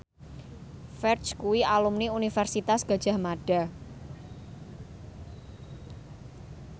Ferdge kuwi alumni Universitas Gadjah Mada